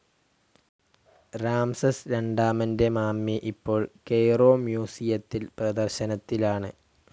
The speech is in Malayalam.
രാംസെസ് രണ്ടാമൻ്റെ മമ്മി ഇപ്പോൾ കൊയ്‌റോ മ്യൂസിയത്തിൽ പ്രദർശനത്തിലാണ്.